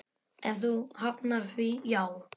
Ef þú hafnar því, já.